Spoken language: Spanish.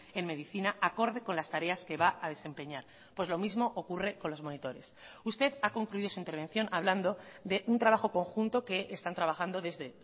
en medicina acorde con las tareas que va a desempeñar pues lo mismo ocurre con los monitores usted ha concluido su intervención hablando de un trabajo conjunto que están trabajando desde